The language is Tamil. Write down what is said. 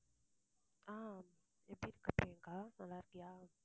அஹ் எப்படி இருக்க ப்ரியங்கா நல்லா இருக்கியா